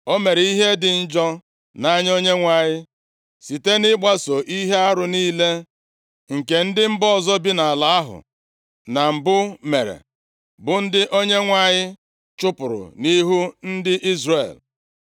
O mere ihe dị njọ nʼanya Onyenwe anyị, site nʼịgbaso ihe arụ niile nke ndị mba ọzọ bi nʼala ahụ na mbụ mere, bụ ndị Onyenwe anyị chụpụrụ nʼihu ndị Izrel.